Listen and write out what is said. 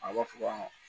A b'a fɔ ko